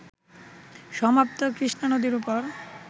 সমাপ্ত কৃষ্ণা নদীর উপর